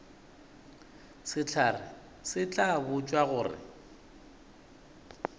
sehlare se tla botšwa gore